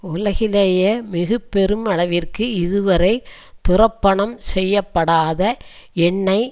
உலகிலேயே மிக பெருமளவிற்கு இதுவரை துரப்பணம் செய்ய படாத எண்ணெய்